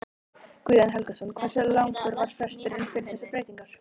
Guðjón Helgason: Hversu langur var fresturinn fyrir þessar breytingar?